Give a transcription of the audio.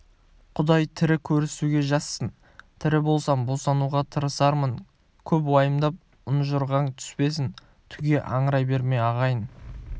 құдай тірі көрісуге жазсын тірі болсам босануға тырысармын көп уайымдап ұнжырғаң түспесін түге аңырай берме ағайын